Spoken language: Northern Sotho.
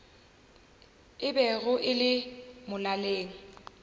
e bego e le molaleng